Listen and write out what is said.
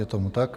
Je tomu tak.